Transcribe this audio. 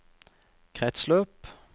kretsløp